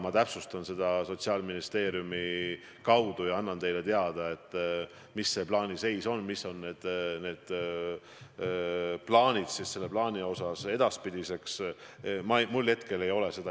Ka haldusterritoriaalse reformi järel oli nii, et igal ühinenud üksusel oli oma plaan, aga läbimängitud ühist kava kogu suurema omavalitsuse jaoks ei olnud.